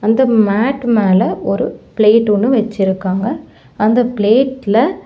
அந்த மேட் மேல ஒரு பிளேட் ஒன்னு வெச்சிருக்காங்க அந்த பிளேட் ல --